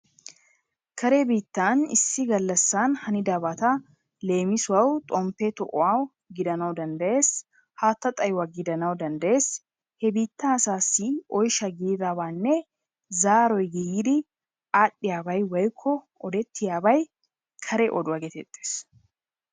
Kare biittan issi gallassan hanidabata leemisuwawu xomppe to'uwa gidana danddayees. Haattay xayuwa gidana danddayees. He biittaa asaassi oyisha gididabaanne zaaroy giigidi aadhdhiya bay woyikko odettiyabay kare oduwa geetettes.